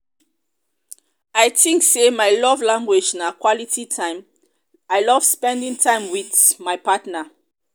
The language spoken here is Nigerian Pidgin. i think say my love language na quality time i love spending time with my partner.